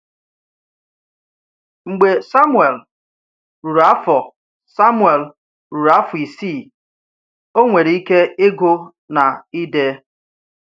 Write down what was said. Mgbe Samuel ruru afọ Samuel ruru afọ isii, ọ nwere ike ịgụ na ide.